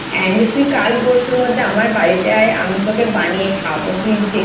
And তুই কাল পরশুর মধ্যে আমার বাড়িতে আয় আমি তোকে বানিয়ে খাওয়াবো তুই যেটা